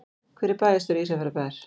Hver er bæjarstjóri Ísafjarðarbæjar?